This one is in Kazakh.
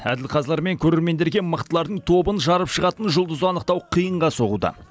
әділ қазылар мен көрермендерге мықтылардың тобын жарып шығатын жұлдызды анықтау қиынға соғуда